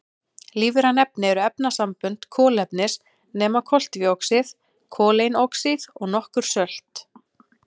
Lífræn efni eru efnasambönd kolefnis nema koltvíoxíð, koleinoxíð og nokkur sölt.